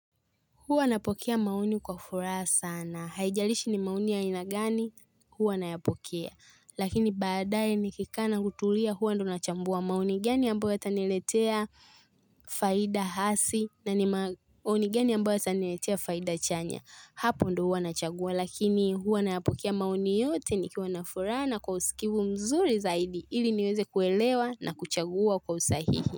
Huwa napokea maoni kwa furaha sana. Haijalishi ni maoni ya aina gani huwa nayapokea. Lakini baadaye nikikaa na kutulia huwa ndo nachambua maoni gani ambayo yataniletea faida hasi na ni maoni gani ambayo esaniletea faida chanya. Hapo ndo huwa nachagua lakini huwa nayapokea maoni yote nikiwa na furaha na kwa usikivu mzuri zaidi ili niweze kuelewa na kuchagua kwa usahihi.